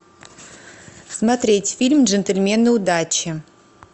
смотреть фильм джентельмены удачи